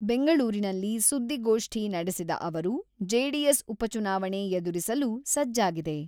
ಬೆಂಗಳೂರಿನಲ್ಲಿ ಸುದ್ದಿಗೋಷ್ಠಿ ನಡೆಸಿದ ಅವರು, ಜೆಡಿಎಸ್ ಉಪಚುನಾವಣೆ ಎದುರಿಸಲು ಸಜ್ಜಾಗಿದೆ.